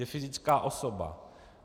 Je fyzická osoba.